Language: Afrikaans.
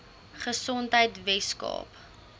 gesondheidweskaap